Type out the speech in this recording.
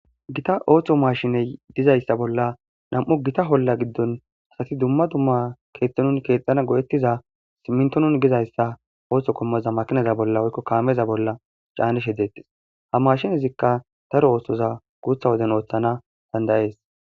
gita ooththo mashiney dizayssa bolla nam7o gita holla giddon asati dumma dumma keexhtonun keexxana godettiza simmintonun gizayssa ooththo kommoza makinaza bolla woykko kaameza bolla caanish he deettes ha maashinezikka taro ooththoza guutha woden ooththana dandayees